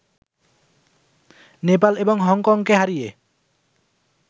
নেপাল এবং হংকংকে হারিয়ে